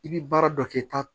I bi baara dɔ kɛ ta